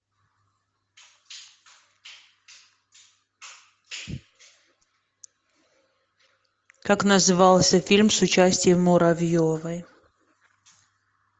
как назывался фильм с участием муравьевой